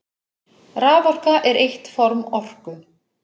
Raforka er eitt form orku.